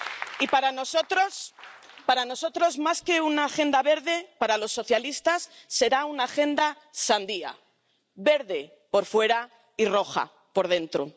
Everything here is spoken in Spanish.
Y para nosotros, más que una agenda verde, para los socialistas, será una agenda sandía, verde por fuera y roja por dentro.